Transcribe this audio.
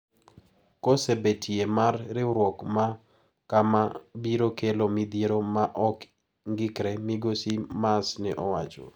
Kose betie mar riwruok ma kama biro kelo midhiero ma ok ng`ikre, migosi Maas ne owacho.